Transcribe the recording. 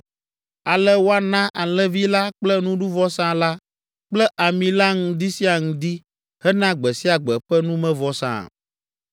Ale woana alẽvi la kple nuɖuvɔsa la kple ami la ŋdi sia ŋdi hena gbe sia gbe ƒe numevɔsa.